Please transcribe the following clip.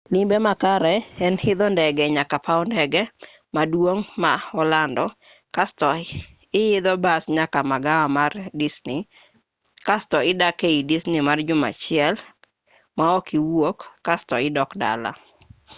limbe makare en idho ndege nyaka paw ndeke maduong' ma olando kasto ihidho bas nyaka magawa mar disni kasto idak ei disni mar juma achiel maok iwuok kasto idok dala